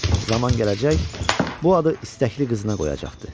Zaman gələcək, bu adı istəkli qızına qoyacaqdı.